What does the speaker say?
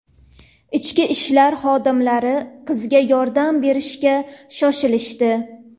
Ichki ishlar xodimlari qizga yordam berishga shoshilishdi.